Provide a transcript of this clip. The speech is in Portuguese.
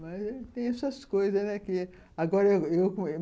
Mas tem essas coisas, né?